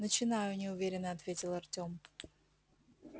начинаю неуверенно ответил артём